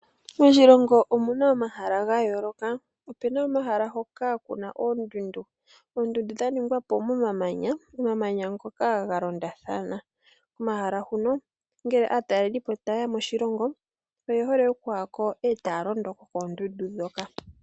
Moshilongo omuna omahala ga yoolokathana. Omuna omahala hoka kuna oondundu. oondundu dha ningwapo momamanya, omamanya ngoka ga londathana. Komahala ngano ngele aatalelipo tayeya moshilongo oyehole okuyako etaya londo koondundu ndhoka.